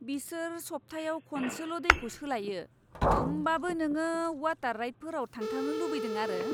बिसोर सब्थायाव खनसेल' दैखौ सोलायो, होमबाबो नोङो वाटार राइडफोराव थांथारनो लुबैदों आरो!